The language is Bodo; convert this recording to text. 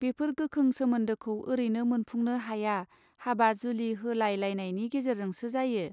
बेफोर गोखों सोमोन्दोखौ ओरैनो मोनफुंनो हाया हाबा जुलि होलाय लालायनि गेजेरजोंसो जायो.